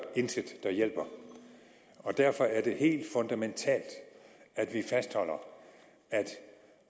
intet der hjælper og derfor er det helt fundamentalt at vi fastholder at